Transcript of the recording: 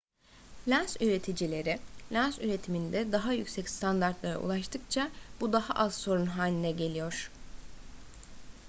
lens üreticileri lens üretiminde daha yüksek standartlara ulaştıkça bu daha az sorun haline geliyor